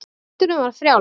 Takturinn var frjáls.